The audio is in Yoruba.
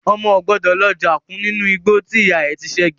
Ọmọ o gbọ́dọ̀ lọ já kún nínú igbó tí ìyá rẹ ti sẹ́gi.